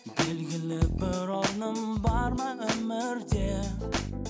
белгілі бір орным бар ма өмірде